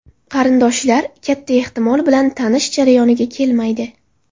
Qarindoshlar, katta ehtimol bilan, tanish jarayoniga kelmaydi.